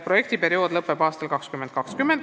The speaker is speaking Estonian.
Projektiperiood lõpeb aastal 2020.